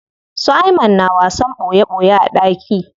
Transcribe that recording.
Su Ayman na wasan ɓoye ɓoye a ɗaki.